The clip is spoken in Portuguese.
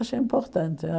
Acho importante.